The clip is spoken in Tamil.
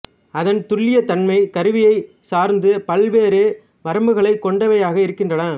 அதன் துல்லியத்தன்மை கருவியைச் சார்ந்து பல்வேறு வரம்புகளைக் கொண்டவையாக இருக்கின்றன